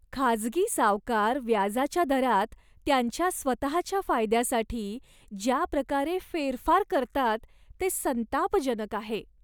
खाजगी सावकार व्याजाच्या दरात त्यांच्या स्वतःच्या फायद्यासाठी ज्या प्रकारे फेरफार करतात ते संतापजनक आहे.